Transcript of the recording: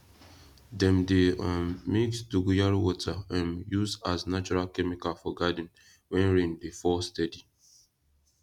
dem dey um mix dogoyaro water um use as natural chemical for garden when rain dey fall steady